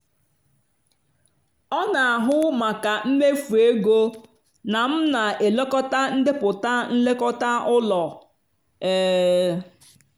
ọ na-ahụ maka mmefu ego na m na-elekọta ndepụta nlekọta ụlọ. um